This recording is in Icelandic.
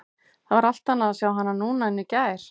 Það var allt annað að sjá hana núna en í gær.